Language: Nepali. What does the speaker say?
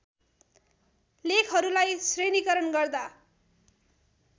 लेखहरूलाई श्रेणीकरण गर्दा